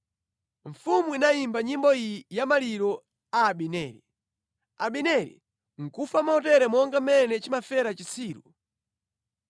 Mfumu inayimba nyimbo iyi ya maliro a Abineri: “Abineri nʼkufa motere monga mmene chimafera chitsiru.